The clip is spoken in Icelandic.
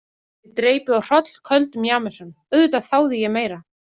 Ég dreypi á hrollköldum Jameson, auðvitað þáði ég meira.